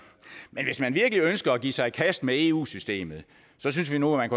virkelig ønsker at give sig i kast med eu systemet synes vi nu man